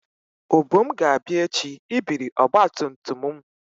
Obum ga-abia echi ibiri ọgba tum tum m.